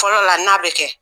Fɔlɔ la n'a bɛ kɛ